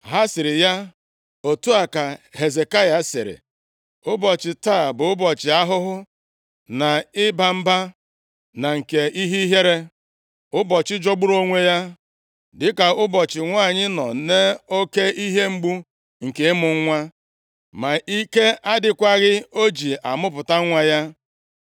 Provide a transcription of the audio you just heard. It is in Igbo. Ha sịrị ya, “Otu a ka Hezekaya sịrị, Ụbọchị taa bụ ụbọchị ahụhụ, na ịba mba na nke ihe ihere. Ụbọchị jọgburu onwe ya dịka ụbọchị nwanyị nọ nʼoke ihe mgbu nke ịmụ nwa ma ike adịkwaghị o ji amụpụta nwa ya.